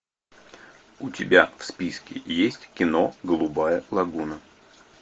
у тебя в списке есть кино голубая лагуна